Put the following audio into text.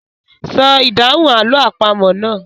Sọ ìdáhùn àlọ́ àpamọ̀ náà.